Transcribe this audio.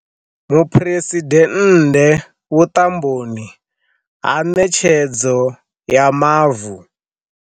Muphuresidennde vhuṱamboni ha ṋetshedzo ya mavu.